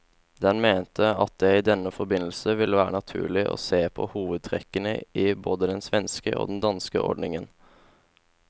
Den mente at det i denne forbindelse ville være naturlig å se på hovedtrekkene i både den svenske og den danske ordningen.